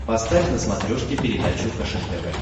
поставь на смотрешке передачу фэшен тв